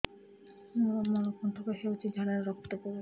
ମୋରୋ ମଳକଣ୍ଟକ ହେଇଚି ଝାଡ଼ାରେ ରକ୍ତ ପଡୁଛି